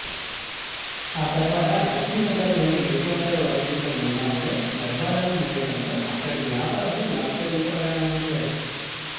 ఆ తర్వాత లక్ష్మినగర్ లోని నిత్యావసర వస్తువుల గోదాములలో డబ్బాలను మోయటంతో అక్కడి వ్యాపారులు లక్ష రూపాయలను అందించారు